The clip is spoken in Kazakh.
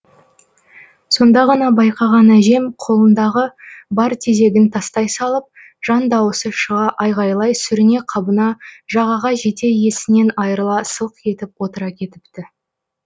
сонда ғана байқаған әжем қолындағы бар тезегін тастай салып жан дауысы шыға айғайлай сүріне қабына жағаға жете есінен айрыла сылқ етіп отыра кетіпті